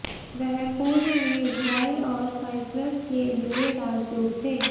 वह पूर्व में इज़राइल और साइप्रस के लिए राजदूत थे